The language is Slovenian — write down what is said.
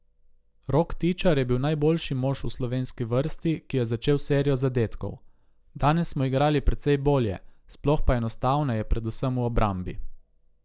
Rok Tičar je bil najboljši mož v slovenski vrsti, ki je začel serijo zadetkov: 'Danes smo igrali precej bolje, sploh pa enostavneje predvsem v obrambi.